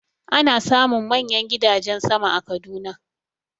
Ana samun manyan gidajen sama a Kaduna.